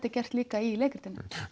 er gert líka í leikritinu